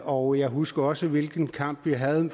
og jeg husker også hvilken kamp vi havde